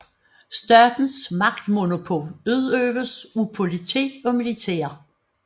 Statens magtmonopol udøves af politi og militær